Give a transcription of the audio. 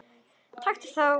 Taktu á!